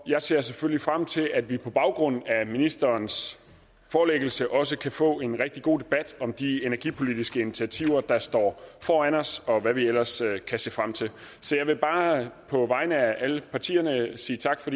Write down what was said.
jeg ser selvfølgelig frem til at vi på baggrund af ministerens forelæggelse også kan få en rigtig god debat om de energipolitiske initiativer der står foran os og hvad vi ellers kan se frem til så jeg vil bare på vegne af alle partierne sige tak for